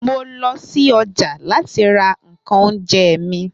mo lo si oja lati ra nkan ounje mi